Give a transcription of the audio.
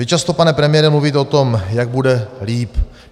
Vy často, pane premiére, mluvíte o tom, jak bude líp.